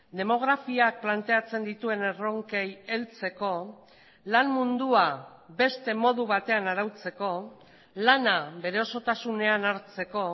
demografiak planteatzen dituen erronkei heltzeko lan mundua beste modu batean arautzeko lana bere osotasunean hartzeko